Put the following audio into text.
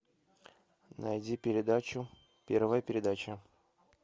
найди передачу первая передача